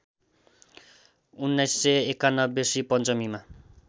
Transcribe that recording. १९९१ Shri पञ्चमीमा